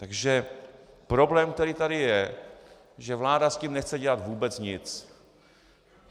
Takže problém, který tady je, že vláda s tím nechce dělat vůbec nic.